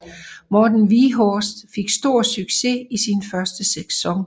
Morten Wieghorst fik stor succes i sin første sæson